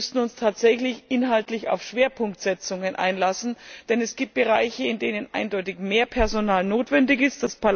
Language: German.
Wir müssten uns tatsächlich inhaltlich auf Schwerpunktsetzungen einlassen, denn es gibt Bereiche, in denen eindeutig mehr Personal notwendig ist.